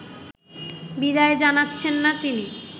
বিদায় জানাচ্ছেন না তিনি